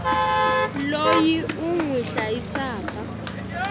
loyi u n wi hlayisaka